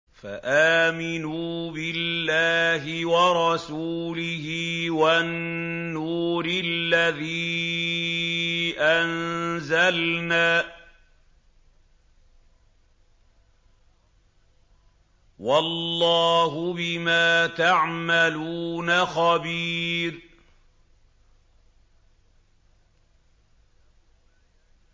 فَآمِنُوا بِاللَّهِ وَرَسُولِهِ وَالنُّورِ الَّذِي أَنزَلْنَا ۚ وَاللَّهُ بِمَا تَعْمَلُونَ خَبِيرٌ